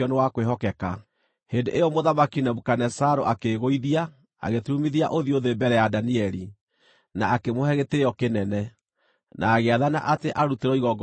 Hĩndĩ ĩyo Mũthamaki Nebukadinezaru akĩĩgũithia, agĩturumithia ũthiũ thĩ mbere ya Danieli, na akĩmũhe gĩtĩĩo kĩnene, na agĩathana atĩ arutĩrwo igongona na ũbumba.